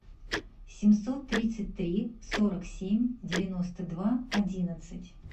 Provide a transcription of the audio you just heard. семьсот тридцать три сорок семь девяносто два одиннадцать